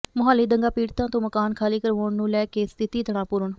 ਮੁਹਾਲੀ ਦੰਗਾ ਪੀੜਤਾਂ ਤੋਂ ਮਕਾਨ ਖਾਲੀ ਕਰਵਾਉਣ ਨੂੰ ਲੈ ਕੇ ਸਥਿਤੀ ਤਣਾਅ ਪੂਰਨ